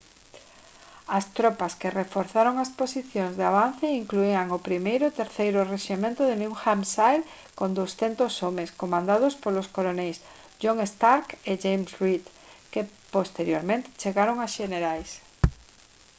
as tropas que reforzaron as posicións de avance incluían o 1.º e 3.º rexemento de new hampshire con 200 homes comandados polos coroneis john stark e james reed que posteriormente chegaron a xenerais